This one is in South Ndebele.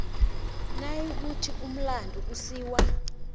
nayikuthi umlandu usiwa